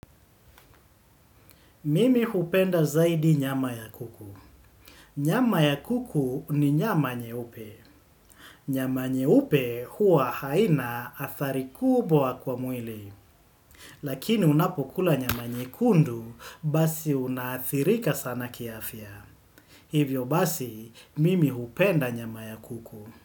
Mimi hupenda zaidi nyama ya kuku. Nyama ya kuku ni nyama nye upe. Nyama nye upe huwa haina athari kubwa kwa mwili. Lakini unapokula nyama nye kundu basi unathirika sana kiafia. Hivyo basi, mimi hupenda nyama ya kuku.